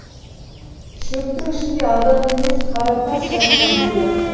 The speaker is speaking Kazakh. шөптің ішінде адам емес қаратас жатқан сияқты